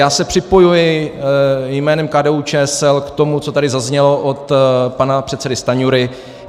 Já se připojuji jménem KDU-ČSL k tomu, co tady zaznělo od pana předsedy Stanjury.